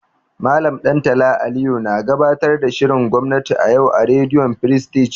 Mallam Ɗantala Aliyu na gabatar da shirin gwamnati a yau a rediyo firistij.